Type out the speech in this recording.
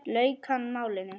lauk hann málinu.